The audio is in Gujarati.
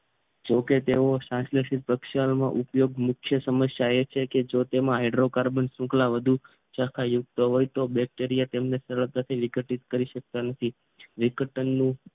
જેવાકે તે ઉપયોગ મુખ્ય સમસ્યા એ છે કે જો તેમાં હાઇડ્રોકાર્બન શૃંખલા વધુ શાખા યુક્ત હોય તો બેક્ટેરિયા તેમને સરળતાથી વિકટીસ કરી શકતા નથી વિકટનું